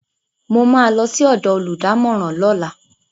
Mo ma lọ sí ọ̀dọ̀ olùdámọ̀ràn lọ́la